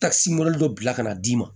Takisi mobili dɔ bila ka na d'i ma